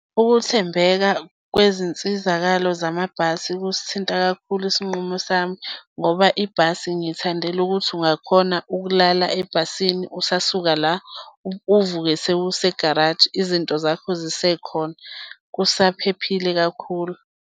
Ukuthembeka kwezinsizakalo zamabhasi kusithinta kakhulu isinqumo sami ngoba ibhasi ngiyithandela ukuthi ungakhona ukulala ebhasini usasuka la uvuke sewusegaraji, izinto zakho zisekhona. Kusaphephile kakhulu.